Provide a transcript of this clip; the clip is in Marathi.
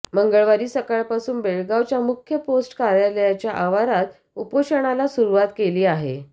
मंगळवारी सकाळपासून बेळगावच्या मुख्य पोस्ट कार्यालयाच्या आवारात उपोषणाला सुरूवात केली आहे